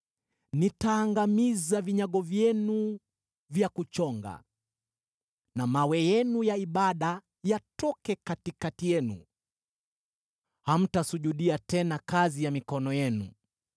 Nitaangamiza vinyago vyenu vya kuchonga na mawe yenu ya ibada yatoke katikati yenu; hamtasujudia tena kazi ya mikono yenu.